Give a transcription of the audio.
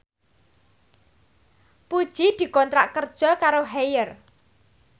Puji dikontrak kerja karo Haier